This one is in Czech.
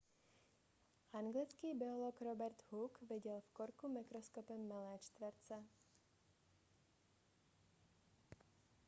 anglický biolog robert hooke viděl v korku mikroskopem malé čtverce